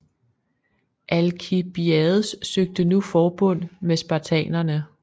Alkibiades søgte nu forbund med spartanerne